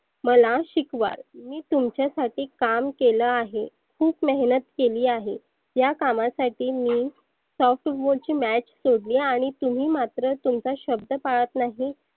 मला शिकवाल. मी तुमच्यासाठी काम केलं आहे. खुप मेहनत केली आहे. या कामासाठी मी softball ची match सोडली आणि तुम्ही मात्र तुमचा शब्द पाळत नाही.